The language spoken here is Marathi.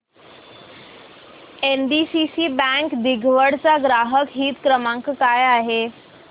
एनडीसीसी बँक दिघवड चा ग्राहक हित क्रमांक काय आहे